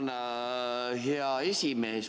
Tänan, hea esimees!